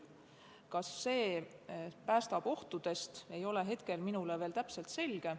Kas see päästab ohtudest, ei ole hetkel minule veel täpselt selge.